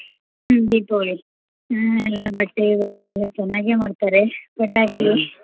ಹ್ಮ್ ದೀಪಾವಳಿ ಹ್ಮ್ ಎಲ್ಲಾ ಬಟ್ಟೆ ಬರೆ ಎಲ್ಲಾ ಚೆನ್ನಾಗೆ ಮಾಡ್ತಾರೇ ಪಟಾಕಿ.